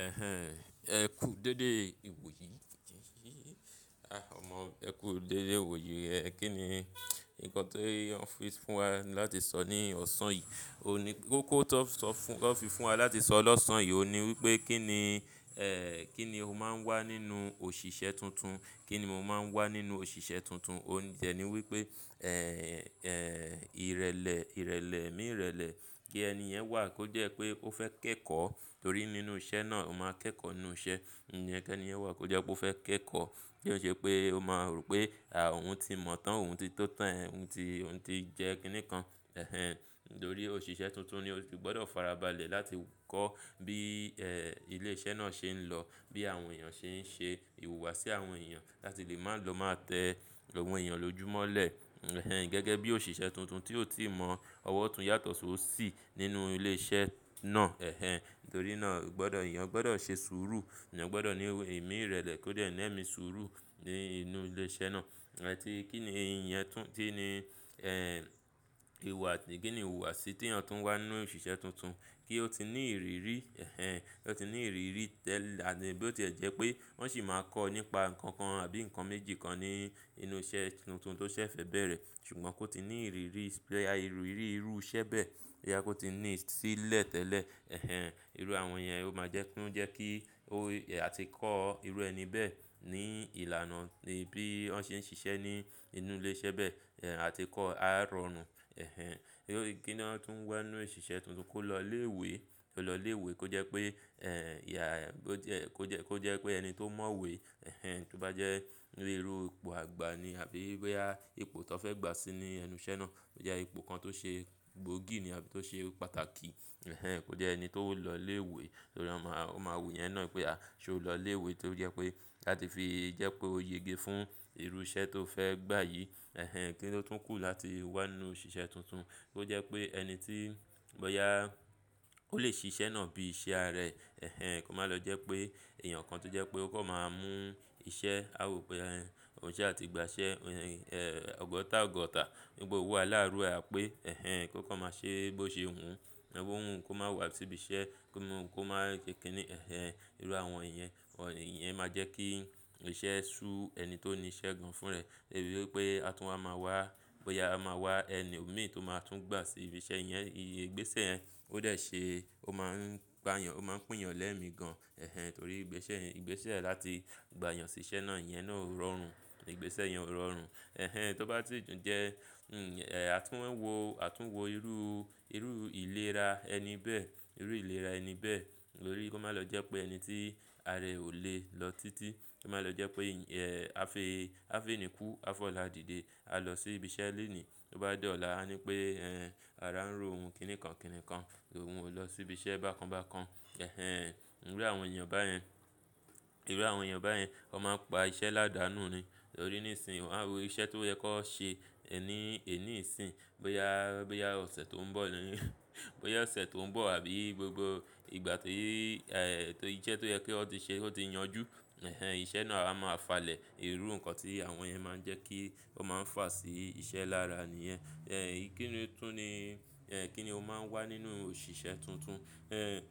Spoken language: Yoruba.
Ẹ̀hẹn, ẹ kú dédé ìwòye, ọmọ ẹ kú dédé ìwòyi. Ẹ̀ kín ni nǹkan tó ń fi fún wa láti sọ ní ọ̀sán yìí, ó ní kó tó sọ fún wa láti sọ lọ́sàn yìí. Óhun ní wípé kín ni, ẹ́ ẹ́ kín ni ó máa ń wà nínú òṣìṣẹ́ tuntun, kín ni mo máa ń wà nínú òṣìṣẹ́ tuntun. Òun dẹ̀ní wípé ẹ́ ẹ́ ìrẹlẹ̀, ìrẹlẹ̀, ẹ̀mí ìrẹlẹ̀ kí ẹni yẹn wà kó jẹ́ pé ó fẹ́ kẹ́kọ̀ọ́ torí nínú iṣẹ́ náà ó máa kẹ́kọ̀ọ́ nínú iṣẹ́. Ìyẹ́ kí ẹni yẹn wà kó jẹ́ pé ó fẹ́ kẹ́kọ̀ọ́ kí ó ṣe pé ó máa rò pé à óun ti mọ̀ tán, òun ti tó tán, òun ti, òun ti jẹ́ kíní kan. Ẹ̀hẹn, nítorí òṣìṣẹ́ tuntun ni ó si gbọ́dọ̀ farabalẹ̀ láti kọ́ bí ẹ́ ilé iṣẹ́ náà ṣe ń lọ, bí àwọn èèyàn ṣe ń ṣe ìhùwàsí àwọn èèyàn láti lè máa lọ máa tẹ ọ̀wọ́n èèyàn ló jùmọ̀lẹ̀. Ẹ̀hẹn, gẹ́gẹ́ bí òṣìṣẹ́ tuntun tí ó ti mọ ọwọ́ ọ̀tún yàtọ̀ sí ó sì nínú ilé iṣẹ́ náà. Ẹ̀hẹn, nítorí náà gbọ́dọ̀, èèyàn gbọ́dọ̀ ṣe sùúrù. Èyàn gbọ́dọ̀ ní ẹ̀mí ìrẹlẹ̀ kó dẹ́ ni ẹmi sùúrù ní inú ilé iṣẹ́ náà. A ti kín ni ìyẹn tún tí ni ẹ́ ìhùwàsí, kí ni ìhùwàsí tí eeyan tún wà nínú òṣìṣẹ́ tuntun kí ó ti ní ìrírí. Ẹ̀hẹn, kí ó ti ní ìrírí tẹ́lẹ̀ bí ó ti jẹ́ pé wọ́n sì máa kọ́ nípa nǹkan kan àbí nǹkan méjì kan ní inú iṣẹ́ tuntun tó ṣẹ̀ fẹ́ bẹ̀rẹ̀. Ṣùgbọ́n kó ti ní ìrírí ìrú irú iṣẹ́ bẹ́ẹ̀ boya kó ti ní sílẹ̀ tẹ́lẹ̀. Ẹ̀hẹn, irú àwọn èèyàn ó máa jẹ́ kó jẹ́ kí ó àti kọ́ irú ẹni bẹ́ẹ̀ ní ìlànà bí wọ́n ṣe ń ṣiṣẹ́ ní inú ilé iṣẹ́ bẹ́ẹ̀. Ẹ̀ à ti kọ́ á rọrùn. Ẹ̀hẹn, kí ni wọ́n tún wá nínú òṣìṣẹ́ tuntun kó lọ ilé ìwé, kó lọ ilé ìwé kó jẹ́ pé ẹ́ ià kó jẹ́, kó jẹ́, kó jẹ́ pé ẹni tó mọ̀ wé. Ẹ̀hẹn, tó bá jẹ́ ní irú ipò àgbà ni àbí bóyá ipò tó fẹ́ gbà sí ní ẹnu iṣẹ́ náà. Bóyá ipò kan tó ṣe gbóògì ni àbí tó ṣe pàtàkì. Ẹ̀hẹn, kó jẹ́ ẹni tó lọ ilé ìwé torí ó máa, ó máa wò ìyẹn náà pé à ṣo lọ ilé ìwé torí ó jẹ́ pé láti fi jẹ́ pé ó yége fún irú iṣẹ́ tó fẹ́ gbà yìí. Ẹ̀hẹn, kí ni ó tún kù láti wà nínú òṣìṣẹ́ tuntun kó jẹ́ pé ẹni tí bóyá ó lè ṣí iṣẹ́ náà bí iṣẹ́ ara ẹ. Ẹ̀hẹn, kó má lọ jẹ́ pé èèyàn kan tó jẹ́ pé ó kàn máa mú ìṣe a wò pé ẹn, òun ṣẹ́ àti gbà ṣẹ́ ẹn ọgọ̀ta ọgọ́ta wipe owo àláàáru à pé ẹ̀hẹn kó kàn máa ṣe bó ṣe wun. Bowun kó má wà síbi iṣẹ́ kó má sekini. Ẹ̀hẹn, irú àwọn iyẹ̀n, iyẹn máa jẹ́ kí iṣẹ́ ṣú ẹni tó ní iṣẹ́ gan fún ra ẹ̀. Debi wípé a tún wa máa wà, bóyá a máa wà ẹni omí tó máa tún gbà sí ibi iṣẹ́ yẹn. Igbésẹ̀ yẹn ó dè ṣe ó máa ń gbà yàn, ó máa ń pín yàn lẹ́mi gan. Ẹ̀hẹn, torí ìgbésẹ̀ yẹn, ìgbésẹ̀ láti gbà yàn sí iṣẹ́ náà, ìyẹn náà ò rọrùn. Ìgbésẹ̀ yẹn ò rọrùn. Ẹ̀hẹn, tó bá ti jẹ ẹ́ àtún ń wò, àtún ń wò irú, irú ìlera ẹni bẹ́ẹ̀, irú ìlera ẹni bẹ́ẹ̀. Nítorí kó má lọ jẹ́ pé ẹni tí ara ẹ ò lè lọ títí, kó má lọ jẹ́ pé ẹ̀ a fi, a fi ẹni kú, a fi ọ̀la dìde, a lọ sí ibi iṣẹ́ lèní. Tó bá di ọ̀la a ní pé ẹ́ ara ń ro ohun kìnìkàn kìnìkan, òun ò lọ sí ibi iṣẹ́ bákan bákan. Ẹ̀hẹn, irú àwọn èèyàn báyẹn, irú àwọn èèyàn báyẹn, wọ́n máa ń pa iṣẹ́ ládàánù ni. Torí nísinsìnyí wọ́n á wo iṣẹ́ tó yẹ kan ṣe ni ẹni ìsín, bóyá, bóyá ọ̀sẹ̀ tó ń bọ̀, bóyá ọ̀sẹ̀ tó ń bọ̀ àbí gbogbo ìgbà ti ẹ́ iṣẹ́ tó yẹ kí wón ti ṣe ki o ti yanjú. Ẹ̀hẹn, iṣẹ́ náà a máa falẹ̀. Irú nǹkan tí àwọn yẹn máa ń jẹ́ kí wọ́n máa fà sí iṣẹ́ lára ni yẹn. Ẹ̀ kín ni tún ni, ẹ́ kín ni ó máa ń wà nínú òṣìṣẹ́ tuntun? Ẹ́